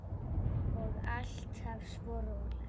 Og alltaf svo róleg.